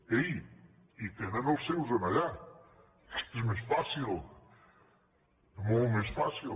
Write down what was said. ei i tenen els seus allà que és més fàcil molt més fàcil